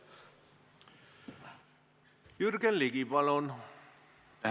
Jürgen Ligi, palun!